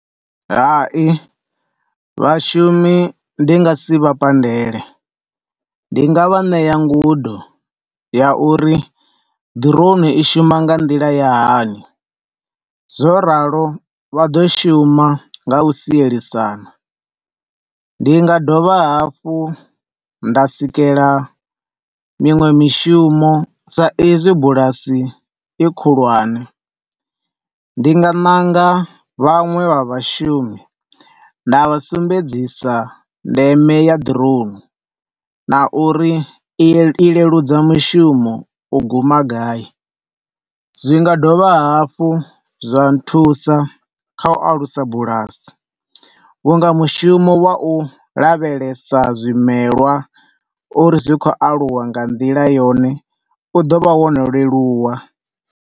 Hai, vhashumi ndi nga si vha pandele, ndi nga vha ṋea ngudo ya uri drone i shuma nga nḓila ya hani zwo ralo, vha ḓo shuma nga u sielisana. Ndi nga dovha hafhu nda sikela miṅwe ya mishumo sa izwi bulasi i khulwane, ndi nga ṋanga vhaṅwe vhashumi nda vha sumbedzisa ndeme ya drone na uri i leludza mushumo u guma gai. Zwi nga dovha hafhu zwa nthusa kha u alusa bulasi vhunga mushumo wa u lavhelesa zwimelwa uri zwi khou aluwa nga nḓila yone u ḓo vha wo leluwa.